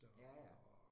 Ja ja